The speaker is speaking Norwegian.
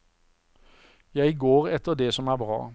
Jeg går etter det som er bra.